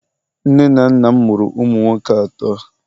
nne na nna m amuru umu nwoke ato